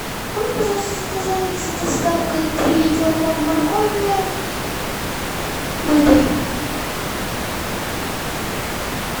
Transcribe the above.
можно пожалуйста заказать с доставкой три килограмма моркови мытой